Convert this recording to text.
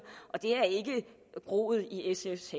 og det er ikke groet i sfs